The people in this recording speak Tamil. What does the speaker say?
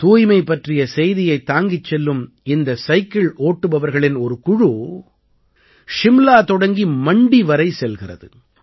தூய்மை பற்றிய செய்தியைத் தாங்கிச் செல்லும் இந்த சைக்கிள் ஓட்டுபவர்களின் ஒரு குழு சிம்லா தொடங்கி மண்டி வரை செல்கிறது